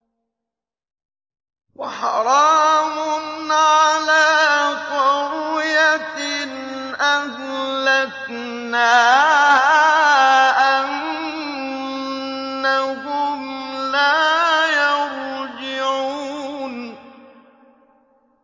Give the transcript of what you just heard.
وَحَرَامٌ عَلَىٰ قَرْيَةٍ أَهْلَكْنَاهَا أَنَّهُمْ لَا يَرْجِعُونَ